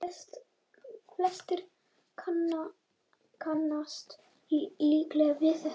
Flestir kannast líklega við þetta.